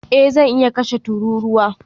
Eh zan iya kashe tururuwa